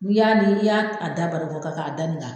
N'i y'a ni i y'a da barikon kan k' a da ni kan.